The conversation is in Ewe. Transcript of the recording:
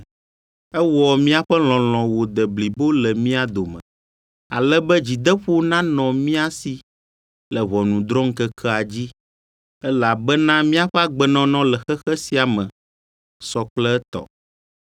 Ewɔ míaƒe lɔlɔ̃ wòde blibo le mía dome, ale be dzideƒo nanɔ mía si le ʋɔnudrɔ̃ŋkekea dzi, elabena míaƒe agbenɔnɔ le xexe sia me sɔ kple etɔ.